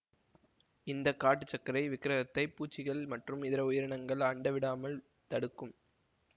இந்த காட்டு சர்க்கரை விக்ரகத்தை பூச்சிகள் மற்றும் இதர உயிரினங்கள் ஆண்ட விடாமல் தடுக்கும்